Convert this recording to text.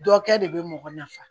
Dɔ kɛ de be mɔgɔ nafa